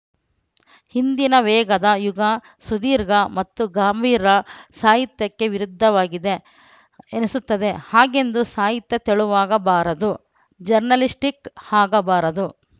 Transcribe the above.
ಇಂದಿನ ವೇಗದ ಯುಗ ಸುದೀರ್ಘ ಮತ್ತು ಗಂಭೀರ ಸಾಹಿತ್ಯಕ್ಕೆ ವಿರುದ್ಧವಾಗಿದೆ ಎನಿಸುತ್ತದೆ ಹಾಗೆಂದು ಸಾಹಿತ್ಯ ತೆಳುವಾಗಬಾರದು ಜರ್ನಲಿಸ್ಟಿಕ್‌ ಆಗಬಾರದು